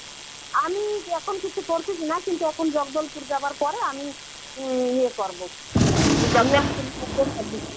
আমি যখন কিছু করছিস না কিন্তু এখন জগদলপুর যাবার পরে আমি উম ইয়ে করবো.